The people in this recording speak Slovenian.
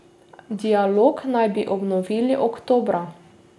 Dialog naj bi obnovili oktobra.